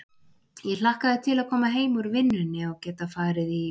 Ég hlakkaði til að koma heim úr vinnunni og geta farið í